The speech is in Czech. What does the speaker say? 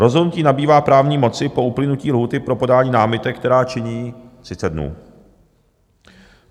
Rozhodnutí nabývá právní moci po uplynutí lhůty pro podání námitek, která činí 30 dnů.